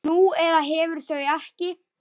Nú eða hefur þau ekki.